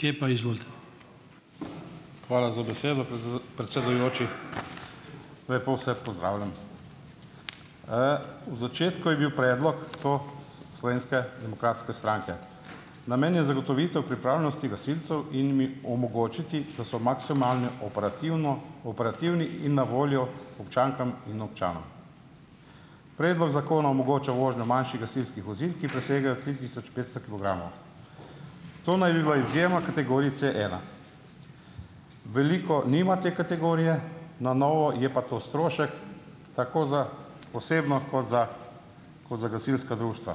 Hvala za besedo, predsedujoči. Lepo vse pozdravljam! V začetku je bil predlog to Slovenske demokratske stranke. Namen je zagotovitev pripravljenosti gasilcev in jim omogočiti, da so maksimalno operativno operativni in na voljo občankam in občanom. Predlog zakona omogoča vožnjo manjših gasilskih vozil, ki presegajo tri tisoč petsto kilogramov. To naj bi bila izjema kategorije C ena. Veliko nima te kategorije na novo, je pa to strošek tako za osebno kot za kot za gasilska društva.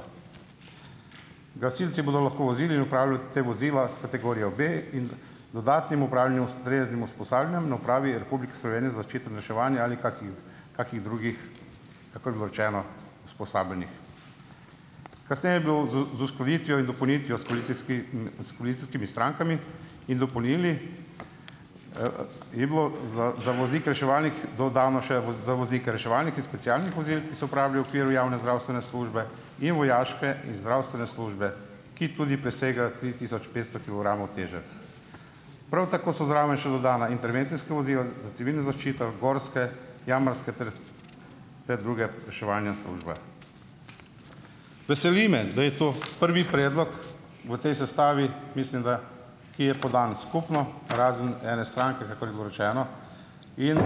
Gasilci bodo lahko vozili in upravljali ta vozila s kategorijo B in dodatnim upravljanjem ustreznim usposabljanjem na Upravi Republike Slovenije za zaščito in reševanje ali kakih kakih drugih, kakor je bilo rečeno, usposabljanjih. Kasneje je bilo z z uskladitvijo in dopolnitvijo s s koalicijskimi strankami in dopolnilni, je bilo za za voznike reševalnih, dodano še za voznike reševalnih in specialnih vozil, ki so uporabili v okviru javne zdravstvene službe in vojaške in zdravstvene službe, ki tudi presega tri tisoč petsto kilogramov teže. Prav tako so zraven še dodana intervencijska vozila za civilno zaščito, gorske, jamarske ter ter druge reševalne službe. Veseli me, da je to prvi predlog v tej sestavi, mislim, da, ki je podan skupno, razen ene stranke, kakor je bilo rečeno, in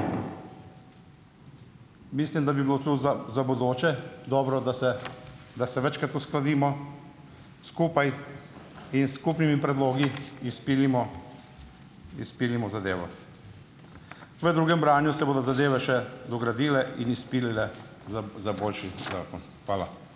mislim, da bi bilo to za za bodoče dobro, da se da se večkrat uskladimo skupaj in s skupnimi predlogi izpilimo izpilimo zadevo. V drugem branju se bodo zadeve še dogradile in izpilile za za boljši zakon. Hvala.